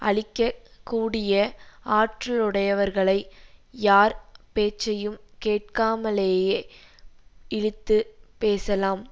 அழிக்க கூடிய ஆற்றலுடையவர்களை யார் பேச்சையும் கேட்காமலே இழித்துப் பேசலாம்